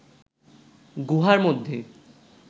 গুহার মধ্যে